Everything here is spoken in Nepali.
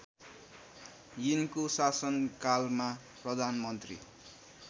यिनको शासनकालमा प्रधानमन्त्री